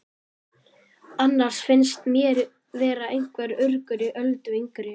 Annars finnst mér vera einhver urgur í Öldu yngri.